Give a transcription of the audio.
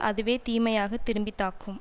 அதுவே தீமையாக திருப்பி தாக்கும்